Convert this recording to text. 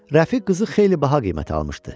Rəfi qızı xeyli baha qiymətə almışdı.